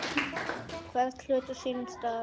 Hvern hlut á sínum stað.